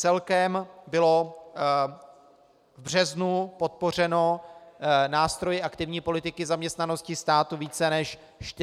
Celkem bylo v březnu podpořeno nástroji aktivní politiky zaměstnanosti státu více než 43 tisíc lidí.